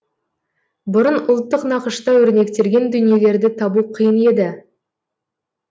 бұрын ұлттық нақышта өрнектелген дүниелерді табу қиын еді